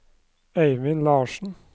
Eivind Larssen